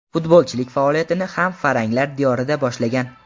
Futbolchilik faoliyatini ham faranglar diyorida boshlagan.